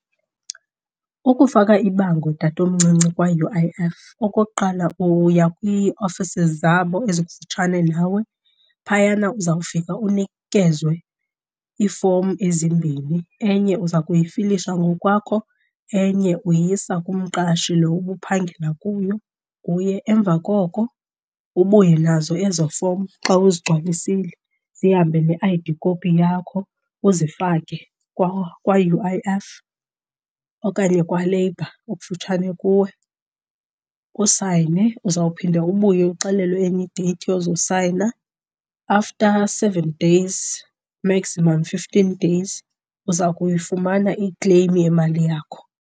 Ukufaka ibango tatomncinci kwa-U_I_F, okokuqala uya kwiiofisi zabo ezikufutshane nawe. Phayana uzawufika unikezwe iifomu ezimbini, enye uza kuyifilisha ngokwakho enye uyisa kumqashi lo ubuphangela kuyo, kuye. Emva koko ubuye nazo ezo fomu xa uzigcwalisile zihambe ne-I_D copy yakho uzifake kwa-U_I_F okanye kwaLabour okufutshane kuwe. Usayine, uzawuphinda ubuye uxelelwe enye i-date yozosayina. After seven days, maximum fifteen days, uza kuyifumana i-claim yemali yakho.